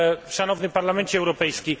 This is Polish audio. Szanowny Parlamencie Europejski!